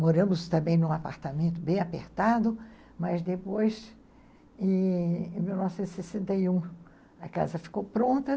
Moramos também num apartamento bem apertado, mas depois, em mil novecentos e sessenta e um, a casa ficou pronta.